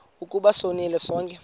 ukuba sonile sonke